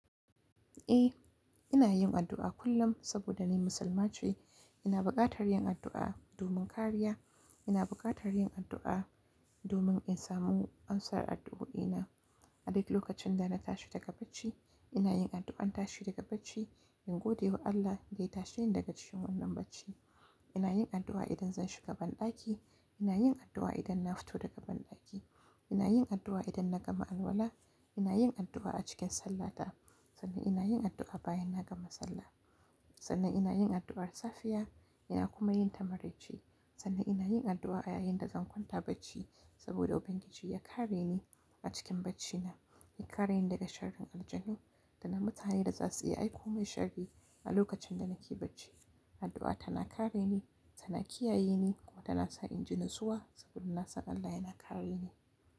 Eh, ina yin addu'a kullum saboda ni Musulma ce. Ina buƙatar yin addu'a domin kariya. Ina buƙatar yin addu'a domin in samu amsar addu'o'ina. A duk lokacin da na tashi daga bacci, ina yin addu'ar tashi daga bacci in gode wa Allah da ya tashe ni daga cikin wannan bacci. Ina yin addu'a idan zan shiga banɗaki, ina yin addu'a idan na fito daga banɗaki. Ina yin addu'a idan na ga ma'anwala, ina yin addu'a a cikin sallata sannan ina yin addu'a bayan na gama sallah. Sannan ina yin addu'ar safiya ina kuma yin ta marice. Sannan ina yin addu'a ayayin da zan kwanta bacci saboda Ubangiji ya kare ni a cikin bacina, ya kare ni daga sharrin aljanu da na mutanen da za su yi aiko min sharri a lokacin da nake bacci. Addu'a tana kare ni, tana kiyaye ni kuma tana sa in ji natsuwa saboda nasan Allah yana kare ni.